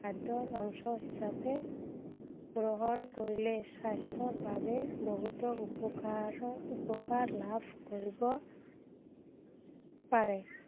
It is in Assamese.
খাদ্য়ৰ অংশ হিচাপে, গ্ৰহণ কৰিলে স্বাস্থ্য়ৰ বাবে উপকাৰৰ উপকাৰ লাভ কৰিব পাৰে।